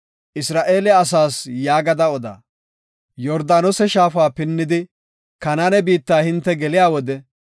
“Isra7eele asaas yaagada oda; Yordaanose shaafa pinnidi, Kanaane biitta hinte geliya wode